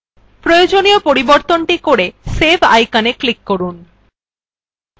প্রয়োজনীয় পরিবর্তন করে save iconএ click করুন